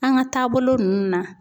An ka taabolo ninnu na